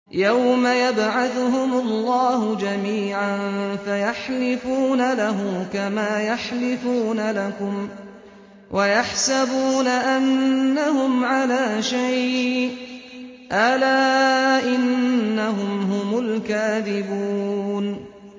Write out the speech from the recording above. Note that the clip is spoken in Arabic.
يَوْمَ يَبْعَثُهُمُ اللَّهُ جَمِيعًا فَيَحْلِفُونَ لَهُ كَمَا يَحْلِفُونَ لَكُمْ ۖ وَيَحْسَبُونَ أَنَّهُمْ عَلَىٰ شَيْءٍ ۚ أَلَا إِنَّهُمْ هُمُ الْكَاذِبُونَ